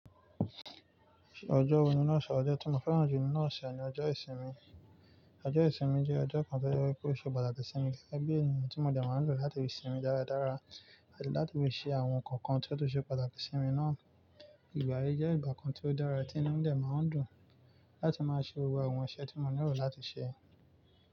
Ọjọ́ wo ni nọ́ọ̀sì? Ọjọ́ tí mo fẹ́ràn jù nínú ọ̀ṣẹ̀ ni ọjọ́ ìsinmi. Ọjọ́ ìsinmi jẹ́ ọjọ́ kan tí ó jẹ kó ṣe pàtàkì sí mi gẹ́gẹ́bí ènìyàn tí mo dẹ̀ máa ń lò láti fi sinmi dáradára àti láti fi ṣe àwọn nǹkan kan tí ó tún ṣe pàtàkì sí mi náà. Ìgbà yí jẹ́ ìgbà kan tí ó dára tí inú mí dẹ̀ máa ń dùn láti máa ṣe gbogbo àwọn iṣẹ́ tí mo nílò láti ṣe.